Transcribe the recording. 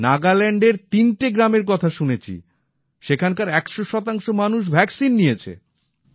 নাগাল্যান্ডের তিনটে গ্রামের কথা শুনেছি সেখানকার ১০০ মানুষ ভ্যাক্সিন নিয়েছে